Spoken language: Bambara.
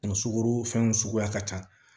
Kun sugoro fɛnw suguya ka ca